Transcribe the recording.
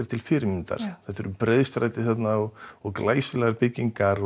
til fyrirmyndar þarna það eru breiðstræti og glæsilegar byggingar